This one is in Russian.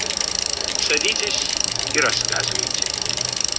садитесь и рассказывайте